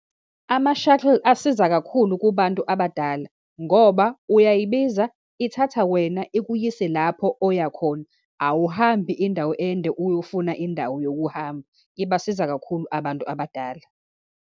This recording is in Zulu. Ama-shuttle asiza kakhulu kubantu abadala ngoba uyayibiza, ithatha wena ikuyise, lapho oyakhona, awuhambi indawo ende, uyofuna indawo yokuhamba. Ibasiza kakhulu abantu abadala.